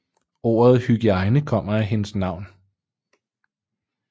Ordet hygiejne kommer af hendes navn